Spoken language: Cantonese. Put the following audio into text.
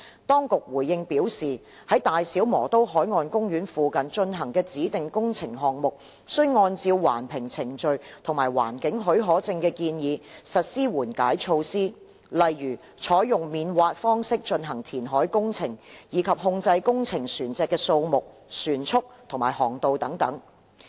當局回應表示，在大小磨刀海岸公園附近進行的指定工程項目，須按照環評程序及環境許可證的建議，實施緩解措施，例如採用免挖方式進行填海工程，以及控制工程船隻的數目、船速及航道等。